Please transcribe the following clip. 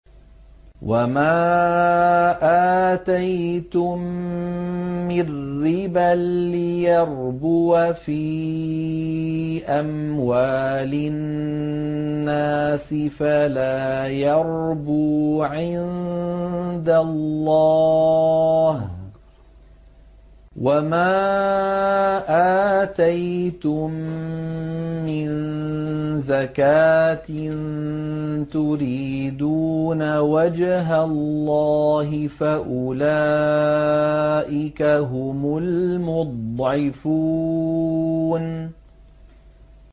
وَمَا آتَيْتُم مِّن رِّبًا لِّيَرْبُوَ فِي أَمْوَالِ النَّاسِ فَلَا يَرْبُو عِندَ اللَّهِ ۖ وَمَا آتَيْتُم مِّن زَكَاةٍ تُرِيدُونَ وَجْهَ اللَّهِ فَأُولَٰئِكَ هُمُ الْمُضْعِفُونَ